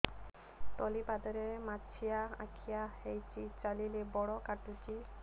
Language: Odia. ତଳିପାଦରେ ମାଛିଆ ଖିଆ ହେଇଚି ଚାଲିଲେ ବଡ଼ କାଟୁଚି